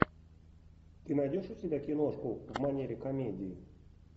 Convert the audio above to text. ты найдешь у себя киношку в манере комедии